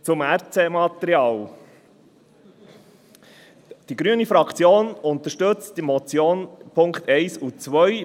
Zum Recycling-Material (RC-Material): Die grüne Fraktion unterstützt die Motion in den Punkten 1 und 2.